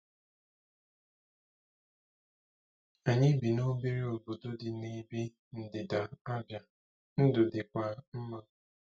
Anyị bi n’obere obodo dị n’ebe ndịda Abia, ndụ dịkwa mma.